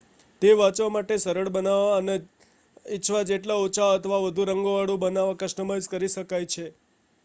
તે વાંચવા માટે સરળ બનાવવા અને ઇચ્છા જેટલા ઓછા અથવા વધુ રંગવાળું બનાવવા કસ્ટમાઇઝ કરી શકાય છે